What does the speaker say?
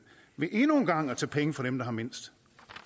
ved endnu en gang at tage penge fra dem der har mindst